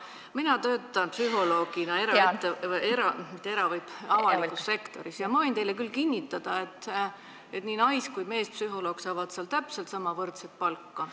Mina töötan psühholoogina avalikus sektoris ja ma võin teile küll kinnitada, et nii nais- kui ka meespsühholoog saavad seal täpselt võrdset palka.